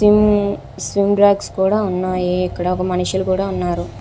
Swim swim racks కూడా ఉన్నాయి. ఇక్కడ ఒక మనుషులు కూడా ఉన్నారు.